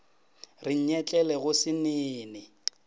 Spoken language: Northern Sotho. re nyetlele go se nene